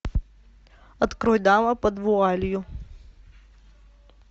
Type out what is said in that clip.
открой дама под вуалью